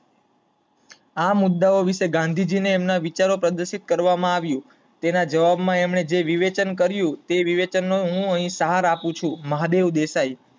આ મુદ્દાઓ વિષે ગાંધીજી ને એમના વિચારો પ્રદર્શિત કરવામાં આવ્યુ, તેના જવાબ માં અમને જે વિવેચન કરિયું એ વિવેચન નો હું અહીં સાર આપું છું, મહાદેવ દેસાઈ